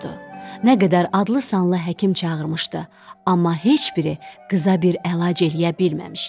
Nə qədər adlı-sanlı həkim çağırmışdı, amma heç biri qıza bir əlac eləyə bilməmişdi.